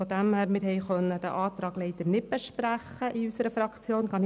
Wir haben den Antrag leider nicht in unserer Fraktion besprechen können.